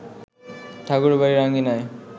ঠাকুরবাড়ির আঙিনায়